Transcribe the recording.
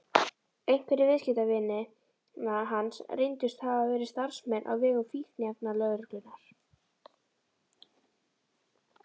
Einhverjir viðskiptavina hans reyndust hafa verið starfsmenn á vegum fíkniefnalögreglunnar.